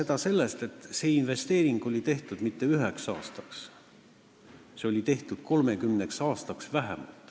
Ma räägin, et see investeering ei olnud tehtud mitte üheks aastaks, see oli tehtud vähemalt 30 aastaks.